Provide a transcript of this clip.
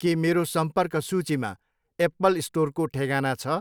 केमेरो सम्पर्क सूचीमा एप्पल स्टोरको ठेगाना छ?